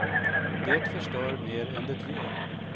Det förstör mer än det ger.